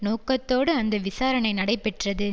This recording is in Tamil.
நோக்கத்தோடு அந்த விசாரணை நடைபெற்றது